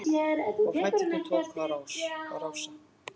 Og fæturnir tóku að rása-